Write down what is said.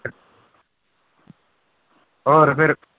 ਹੋਰ ਫਿਰ